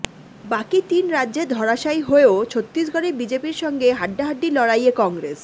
বাকি তিন রাজ্যে ধরাশয়ী হয়েও ছত্তিসগড়ে বিজেপির সঙ্গে হাড্ডাহাড্ডি লড়াইয়ে কংগ্রেস